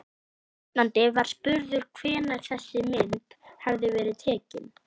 Stefnandi var spurður hvenær þessi mynd hefði verið tekin?